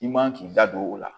I man k'i da don o la